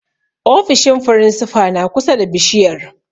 Ofishin firinsifa na kusa da bishiyar.